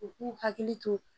U k'u hakili to